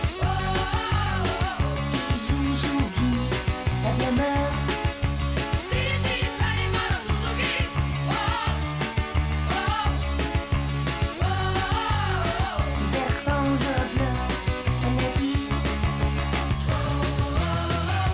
var